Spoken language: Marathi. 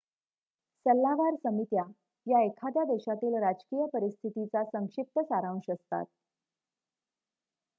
सल्लागार समित्या या एखाद्या देशातील राजकीय परिस्थितीचा संक्षिप्त सारांश असतात